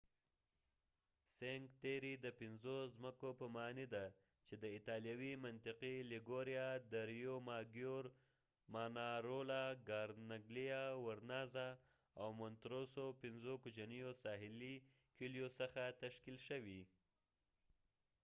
سینک تیري د پنځو ځمکو په معنی دي چې د ایتالیوي منطقې لیګوریا د ریوماګیور مانارولا کارنګلیا ورنازا او مونتروسو پنځو کوچنیو ساحلي کلیو څخه تشکیل شوې